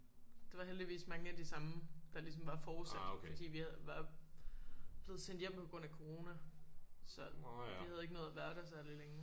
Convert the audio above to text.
Det var heldigvis mange af de samme der ligesom var fortsat fordi vi havde var blevet sendt hjem på grund af corona så vi havde ikke nået at være der særlig længe